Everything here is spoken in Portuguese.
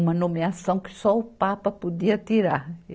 Uma nomeação que só o Papa podia tirar.